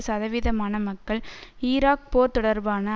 சதவீதமான மக்கள் ஈராக் போர் தொடர்பான